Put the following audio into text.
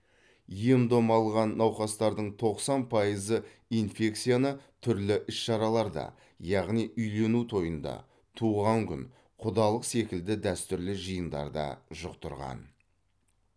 ем дом алған науқастардың тоқсан пайызы инфекцияны түрлі іс шараларда яғни үйлену тойында туған күн құдалық секілді дәстүрлі жиындарда жұқтырған